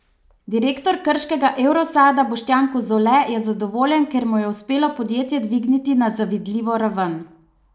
Direktor Krškega evrosada Boštjan Kozole je zadovoljen, ker mu je uspelo podjetje dvigniti na zavidljivo raven.